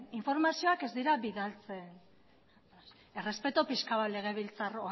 informazioak ez dira bidaltzen errespetu pixka bat legebiltzar